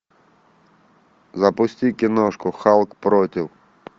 запусти киношку халк против